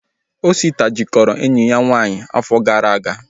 Osita jikọrọ enyi ya nwaanyị afọ gara aga